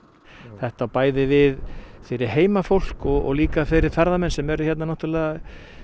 þetta á bæði við fyrir heimafólk og líka fyrir ferðamenn sem eru hér náttúrulega